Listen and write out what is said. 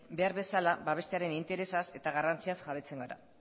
behar bezala babestearen interesaz eta garrantziaz jabetzen gara